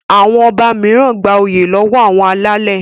Àwọn ọba mìíràn gbà oyè lọwọ àwọn alálè.